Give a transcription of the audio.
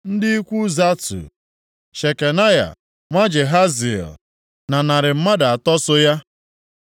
ndị ikwu Zatu, Shekanaya nwa Jahaziel na narị mmadụ atọ (300) so ya.